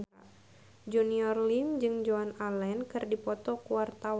Junior Liem jeung Joan Allen keur dipoto ku wartawan